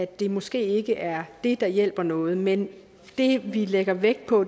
det måske ikke er det der hjælper noget men det vi lægger vægt på